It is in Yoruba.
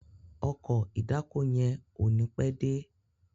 Ọkọ̀ ìdákoní yén o ní pé dé